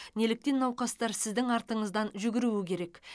неліктен науқастар сіздің артыңыздан жүгіруі керек